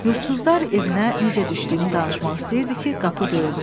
Yurdsuzlar evinə necə düşdüyünü danışmaq istəyirdi ki, qapı döyüldü.